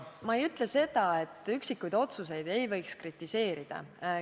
Ma ei ütle seda, et üksikuid otsuseid ei võiks kritiseerida.